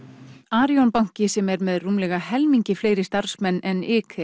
Arion banki sem er með rúmlega helmingi fleiri starfsmenn en